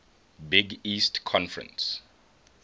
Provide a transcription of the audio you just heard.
big east conference